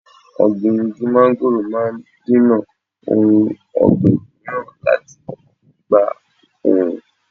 Ọ̀gbìn igi mángóròò máa dènà ohun ọ̀gbìn mìíràn láti gba oòrùn.